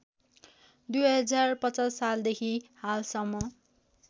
२०५० सालदेखि हालसम्म